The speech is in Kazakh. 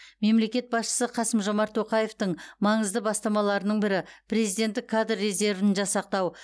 мемлекет басшысы қасым жомарт тоқаевтың маңызды бастамаларының бірі президенттік кадр резервін жасақтау